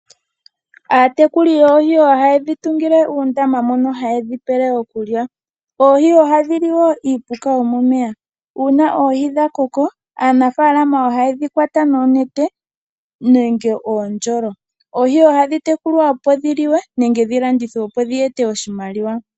Aatekuli yoohi ohaye dhi tungile uundama mono haye dhi pele okulya. Oohi ohadhi liwo iipuka yomomeya. Una oohi dha koko aanafalama ohayedhi kwa noonete nenge uundjolo. Oohi ohadhi tekulwa opo dhi liwe nenge dhi landithwe opo dhi ete oshimaliwa.